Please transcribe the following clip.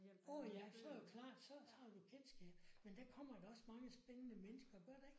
Uh ja så er det jo klart så så har du jo kendskab. Men der kommer da også mange spændende mennesker gør der ikke?